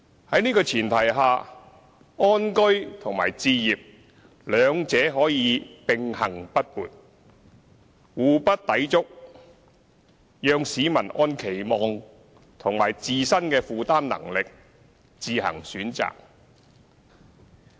在這前提下，安居和置業兩者可以並行不悖，互不抵觸，讓市民按期望及自身的負擔能力自行選擇。